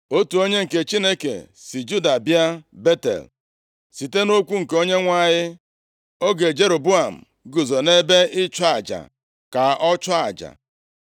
Otu onye nke Chineke si Juda bịa Betel, site nʼokwu nke Onyenwe anyị oge Jeroboam guzo nʼebe ịchụ aja ka ọ chụọ aja.